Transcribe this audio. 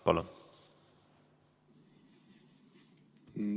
Palun!